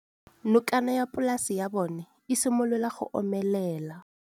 Nokana ya polase ya bona, e simolola go omelela.